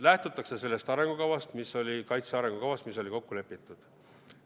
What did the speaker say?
Lähtutakse sellest arengukavast, kaitse arengukavast, mis oli kokku lepitud.